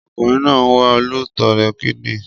Ọkùnrin náà ń wá olùtọrẹ kidinrin